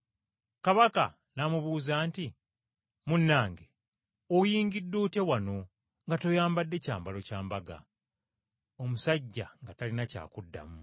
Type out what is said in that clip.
Kabaka n’amubuuza nti, ‘Munnange, oyingidde otya wano nga toyambadde kyambalo kya mbaga?’ Omusajja nga talina ky’addamu.